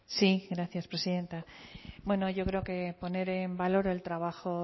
eserlekutik hitz egiten du sí gracias presidenta bueno yo creo que poner en valor el trabajo